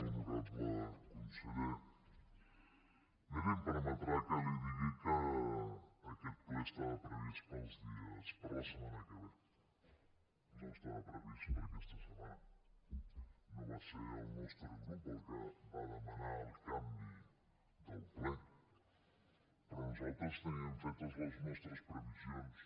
honorable conseller miri em permetrà que li digui que aquest ple estava previst per a la setmana que ve no estava previst per a aquesta setmana no va ser el nostre grup el que va demanar el canvi del ple però nosaltres teníem fetes les nostres previsions